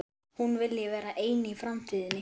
Hún vilji vera ein í framtíðinni.